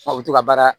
u bɛ to ka baara